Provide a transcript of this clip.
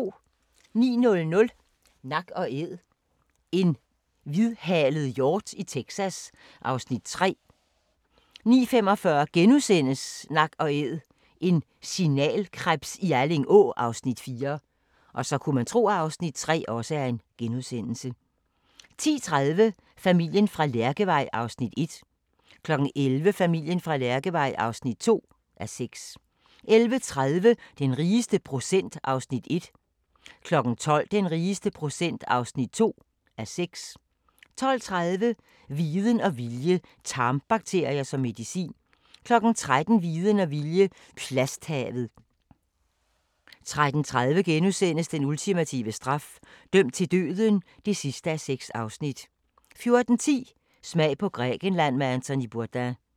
09:00: Nak & Æd – en hvidhalet hjort i Texas (Afs. 3) 09:45: Nak & Æd – en signalkrebs i Alling Å (Afs. 4)* 10:30: Familien fra Lærkevej (1:6) 11:00: Familien fra Lærkevej (2:6) 11:30: Den rigeste procent (1:6) 12:00: Den rigeste procent (2:6) 12:30: Viden og vilje – tarmbakterier som medicin 13:00: Viden og vilje – plasthavet 13:30: Den ultimative straf – dømt til døden (6:6)* 14:10: Smag på Grækenland med Anthony Bourdain